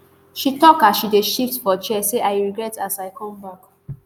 she tok as she dey shift for chair say i regret as i come back